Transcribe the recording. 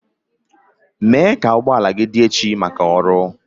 Mee ka ụgbọ ala gị dị echi maka ọrụ.